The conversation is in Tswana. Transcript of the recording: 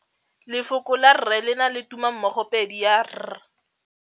Lefoko la rre le na le tumammogôpedi ya, r.